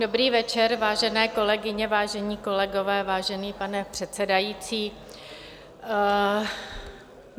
Dobrý večer, vážené kolegyně, vážení kolegové, vážený pane předsedající.